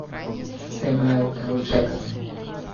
сэмюэл л джексон